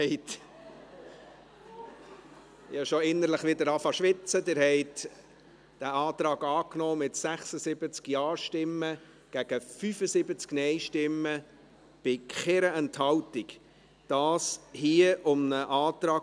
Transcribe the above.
Abstimmung (Art. 84 Abs. 2a [neu], Antrag FiKo-Minderheit [Kipfer, Münsingen]) Vote (Art. 84, al. 2a [nouveau] ;